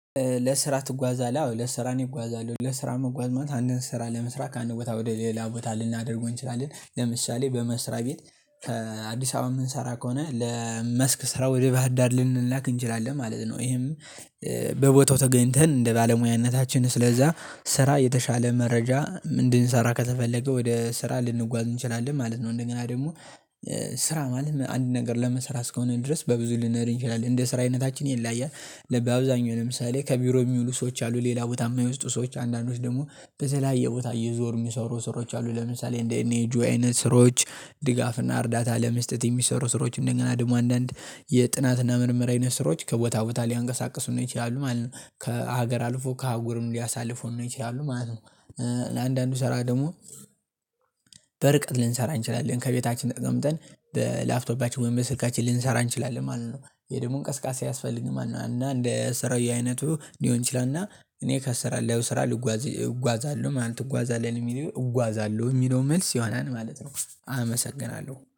ለስራ ትጓዛለህ? አዎ ለስራ እኔ እጓዛለሁ ለስራ መጓዝ ማለት አንድን ስራ ለመስራት ከአንድ ቦታ ወደ ሌላ ቦታ ልናደርገው እንችላለን ለምሳሌ በመስራት ቤት የምንሰራ ከሆነ ለመስክ ስራ ወደ ባህር ዳር ልንላክ እንችላለን ማለት ነው። ይሄም በቦታው ተገኝተን እንደ ባለሙያነታችን ስለዛ ስራ የተሻለ መረጃ እንድንሰራ ከተፈለገ ወደ ስራ ልንጓዝ እንችላለን ማለት ነው። እንደገና ደግሞ ስራ ማለት አንድን ነገር ለመስራት እስከሆነ ድረስ በብዙ ልንሄድ እንችላለን እንደ ስራ አይነታችን ይለያያል ለ በአብዛኛው ለምሳሌ ከቢሮ የሚውሉ ሰዎች አሉ። ሌላ ቦታ የማይወስዱ ሰዎች አንዳንዶች ደግሞ በተለያየ የቦታ እየዞሩ የሚሰሩ ስሮች አሉ። ለምሳሌ እንደ ኤንጂኦ አይነት ስራዎች ድጋፍና እርዳታ ለመስጠት የሚሰሩ ስሮች እንደገና ደግሞ አንዳንድ የጥናትና ምርምር አይነት ስራዎች ከቦታ ቦታ ሊያንቀሳቅሱን ይችላሉ ማለት ከሀገር አልፎ ከአጉርም ሊያሳልፉን ይችላሉ ማለት ነው። ለአንዳንዱ ሰራ ደግሞ በርቀት ልንሰራ እንችላለን ከቤታችን ተቀምጠን በላፕቶፓችን ወይም በስልካችን ልንሰራ እንችላለን ማለት ነው። የይሄ ደግሞ እንቅስቃሴ አያስፈልግም ማለት ነው እና እንደ ስራው አይነቱ ሊሆን ይችላል። እና እኔ ከሰራለሁ ስራ ልጓዝ እጓዛለሁ ማለት እጓዛለሁ የሚለው እጓዛለሁ የሚለው መልስ ይሆናል ማለት ነው። አመሰግናለሁ